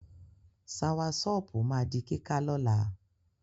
Sawasọ́pù ma di kíká lọ́la.